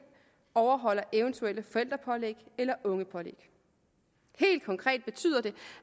overholder eventuelle forældrepålæg eller ungepålæg helt konkret betyder det